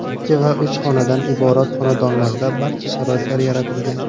Ikki va uch xonadan iborat xonadonlarda barcha sharoitlar yaratilgan.